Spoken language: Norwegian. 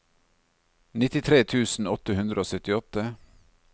nittitre tusen åtte hundre og syttiåtte